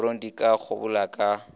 korong di ka kgobola ka